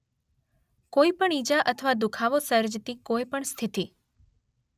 કોઈપણ ઈજા અથવા દુખાવો સર્જતી કોઈપણ સ્થિતિ.